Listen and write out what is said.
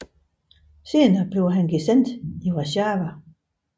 Senere blev han gesandt i Warszawa